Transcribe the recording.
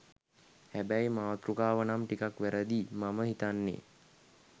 හැබැයි මාතෘකාව නම් ටිකක් වැරදි මම හිතන්නෙ.